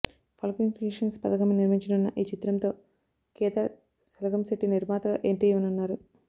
Falcon Creations పతాకంపై నిర్మించనున్న ఈ చిత్రంతో కేదార్ సెలగంశెట్టి నిర్మాతగా ఎంట్రీ ఇవ్వనున్నారు